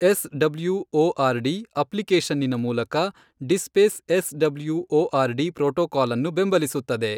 S W O R D , ಅಪ್ಲಿಕೇಶನ್ನಿನ ಮೂಲಕ, DSpace S W O R D protocol ಅನ್ನು ಬೆಂಬಲಿಸುತ್ತದೆ.